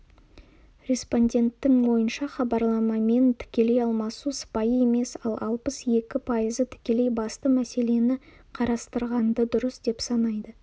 респонденттің ойынша хабарламамен тікелей алмасу сыпайы емес ал алпыс екі пайызы тікелей басты мәселені қарастырғанды дұрыс деп санайды